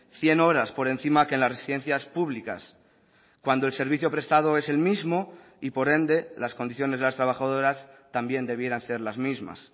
cien horas por encima que las residencias públicas cuando el servicio prestado es el mismo y por ende las condiciones de las trabajadoras también debieran ser las mismas